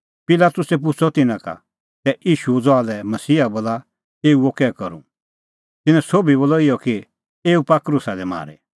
पिलातुसै पुछ़अ तिन्नां का तै ईशूओ ज़हा लै मसीहा बोला एऊओ कै करूं तिन्नैं सोभी बोलअ इहअ कि एऊ पाआ क्रूसा दी मारी